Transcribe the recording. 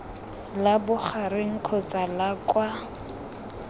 la bogareng kgotsa la kwa